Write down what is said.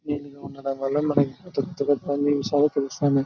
ఇలా ఉండటం వల్ల మనకి తృప్తిగా అన్న విషయాలు తెలుస్తూ ఉన్నాయి.